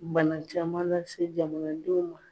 Bana caman lase jamanadenw ma